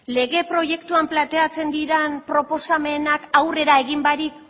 lege proiektuan planteatzen diren proposamenak aurrera egin barik